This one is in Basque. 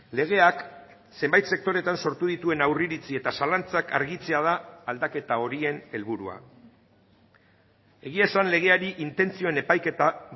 legeak zenbait sektoretan sortu dituen aurreiritzi eta zalantzak argitzea da aldaketa horien helburua egia esan legeari intentzioen epaiketa